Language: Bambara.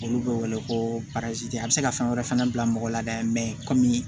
Olu bɛ wele ko a bɛ se ka fɛn wɛrɛ fana bila mɔgɔ la komi